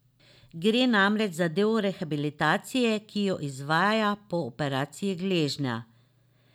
Gre namreč za del rehabilitacije, ki jo izvaja po operaciji gležnja.